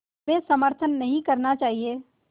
में समर्थन नहीं करना चाहिए